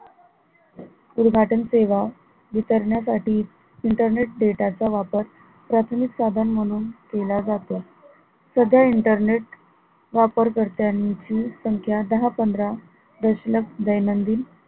उदघाटन सेवा विसरण्यासाठी Internet data चा वापर प्राथमिक साधन म्हणून केला जातो सध्या internet वापरकर्त्यांची संख्या दहा पंधरा दशलक्ष दैनंदिन